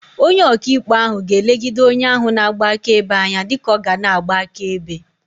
Onye oka ikpe ahu ga-elegide onye ahu na-agba akaebe anya dika ọ ga na-agba akaebe.